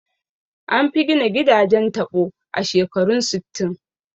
An fi gina gidajen taɓo a shekarun sittin